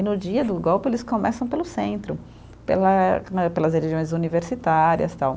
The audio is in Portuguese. E no dia do golpe eles começam pelo centro, pela, como eh, pelas regiões universitárias, tal.